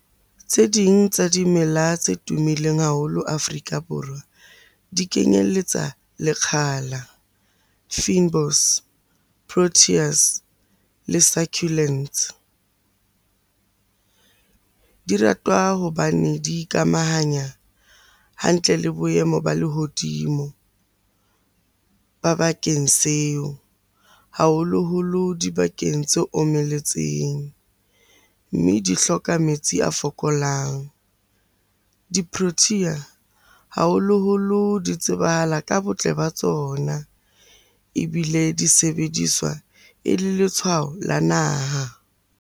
Tse ding tsa dimela tse tumileng haholo Afrika Borwa di kenyeletsa lekgala, fynbos, proteas le succulents. Di ratwa hobane di ikamahanya hantle le boemo ba lehodimo ba bakeng seo, haholoholo dibakeng tse omeletseng. Mme di hloka metsi a fokolang. Di protea haholoholo di tsebahala ka botle ba tsona, ebile di sebediswa e le letshwao la naha.